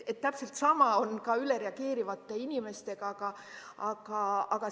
Täpselt sama on ka ülereageerivate inimestega.